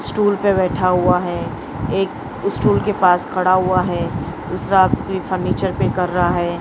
Stool पे बैठा हुआ है एक स्टूल के पास खड़ा हुआ है दूसरा कोई फर्नीचर पे कर रहा है।